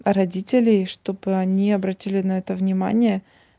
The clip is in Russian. родителей чтобы они обратили на это внимание